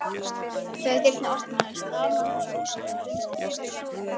Þegar dyrnar opnuðust stamaði hann svolítið og stundi upp: Afsakið